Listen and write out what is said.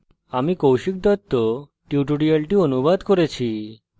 আমি কৌশিক দত্ত এই টিউটোরিয়ালটি অনুবাদ করেছি